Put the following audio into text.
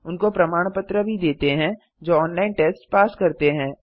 उनको प्रमाण पत्र भी देते हैं जो ऑनलाइन टेस्ट पास करते हैं